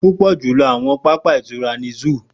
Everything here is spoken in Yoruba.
Pupọ julọ awọn papa itura ni zoo.